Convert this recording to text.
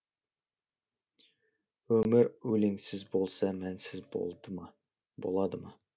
өмір өлеңсіз болса мәнсіз болады ма